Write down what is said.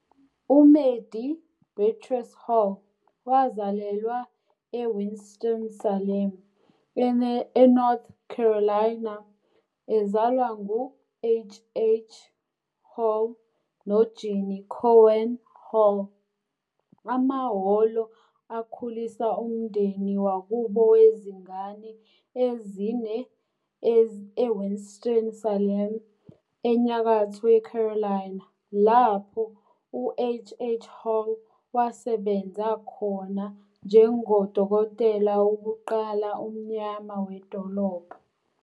uMadie Beatrice Hall wazalelwa eWinston-Salem, eNorth Carolina, ezalwa ngu H. H. Hall noGinny Cowan Hall. AmaHholo akhulisa umndeni wakubo wezingane ezine eWinston-Salem, eNyakatho yeCarolina, lapho uH. H. Hall wasebenza khona njengodokotela wokuqala omnyama wedolobha.